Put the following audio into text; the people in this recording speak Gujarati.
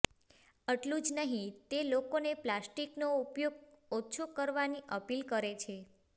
એટલું જ નહીં તે લોકોને પ્લાસ્ટિકનો ઉપયોગ ઓછો કરવાની અપીલ કરે છે